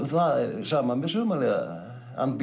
það er sama með Sumarliða